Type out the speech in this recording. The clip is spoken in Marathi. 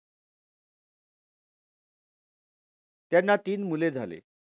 त्यांना तीन मुले झाले.